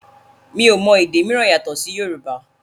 mi o mọ èdè míràn yàtò sì Yorùbá